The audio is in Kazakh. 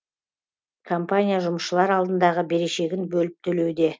компания жұмысшылар алдындағы берешегін бөліп төлеуде